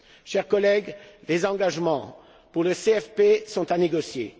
Chers collègues, les engagements pour le CFP sont à négocier.